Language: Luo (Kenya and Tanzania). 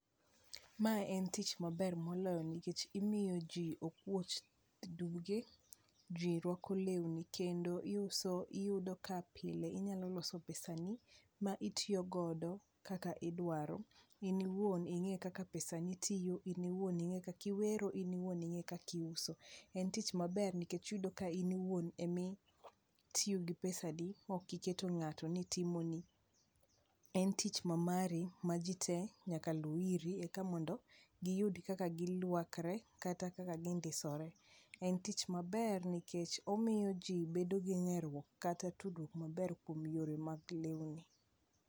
Mae en tich maber moloyo nikech imiyo ji okwuoch duge, ji rwako lewni kendo iyudo ka pile inyalo loso pesa ni ma itiyogodo kaka idwaro. In iwuon ing'e kaka pesa ni tiyo, in iwuon ing'e kakiwero, in iwuon ing'e kakiuso. En tich maber nikech iyudo ka in iwuon emitiyo gi pesadi, mokiketo ng'ato ni timoni. En tich mamari ma ji te nyaka lu iri eka mondo giyudi kaka girwakre kata kaka gindisore. En tich maber nikech omiyo ji bedo gi ng'eruok kata tudruok maber kuom yore mag lewni.